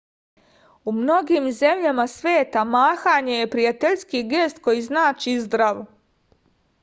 u mnogim zemljama sveta mahanje je prijateljski gest koji znači zdravo